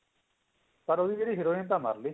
ਪਰ ਜਿਹੜੀ heroine ਤਾਂ ਮਰਲੀ